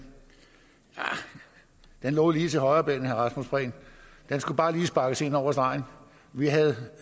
lå lige til højrebenet herre rasmus prehn den skulle bare lige sparkes ind over stregen vi havde